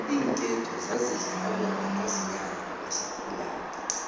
iinketo zazidlalwa bantazinyana abasakhulako